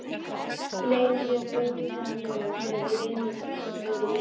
Leið mér bölvanlega þegar við vinir vorum lengi í fúleyjum.